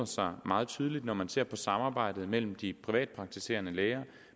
sig meget tydeligt når man ser på samarbejdet mellem de privatpraktiserende læger